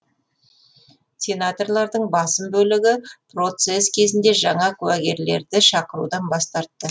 сенаторлардың басым бөлігі процесс кезінде жаңа куәгерлерді шақырудан бас тартты